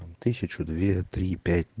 тысячу две три пять